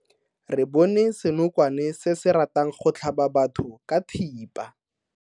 Re bone senokwane se se ratang go tlhaba batho ka thipa.